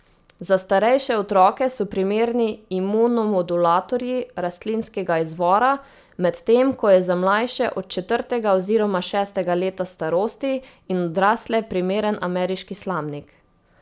Za starejše otroke so primerni imunomodulatorji rastlinskega izvora, medtem ko je za mlajše, od četrtega oziroma šestega leta starosti, in odrasle primeren ameriški slamnik.